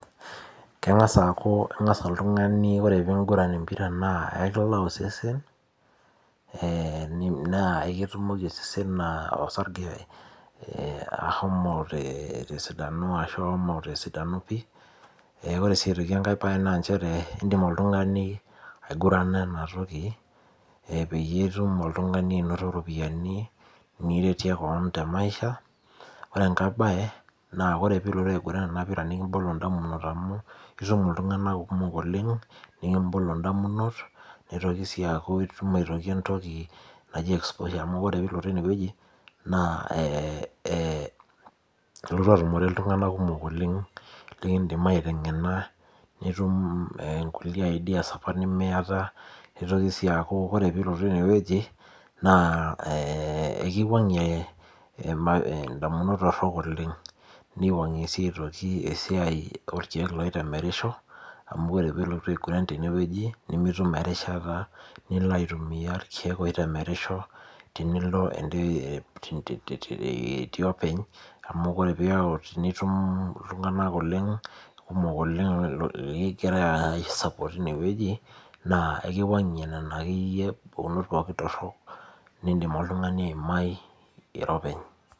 Keng'asa aku keng'asa oltung'ani ore piguran empira naa, ekilaa osesen, naa ekitumoki osesen osarge ahomo tesidano ashu ashomo tesidano pi. Ee ore si aitoki enkae bae naa njere, idim oltung'ani aigurana enatoki peyie itum oltung'ani anoto iropiyiani niretie keon temaisha, ore enkae bae, naa ore pilotu aiguran enapira nikibolo damunot amu itum iltung'anak kumok oleng, nikibolo indamunot, nitoki si aku itum aitoki entoki naji exposure amu ore pilotu enewueji, naa ilotu atumore iltung'anak kumok oleng likidim aiteng'ena nitum nkulie ideas apa nimiata, nitoki si aku ore pilotu enewueji, naa ekiwang'ie indamunot torrok oleng. Niwang'ie si aitoki esiai orkeek loitemerisho, amu ore pilotu aiguran tenewueji, nimitum erishata nilo aitumia irkeek oitemerisho, tenilo itii openy, amu ore piau pitum iltung'anak oleng kumok oleng logira ai support inewueji, naa ekiwang'ie nena akeyie pukunot pookin torrok, nidim oltung'ani aimai iro openy.